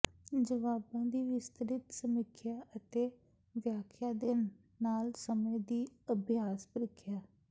ਜਵਾਬਾਂ ਦੀ ਵਿਸਤ੍ਰਿਤ ਸਮੀਖਿਆ ਅਤੇ ਵਿਆਖਿਆ ਦੇ ਨਾਲ ਸਮੇਂ ਦੀ ਅਭਿਆਸ ਪ੍ਰੀਖਿਆ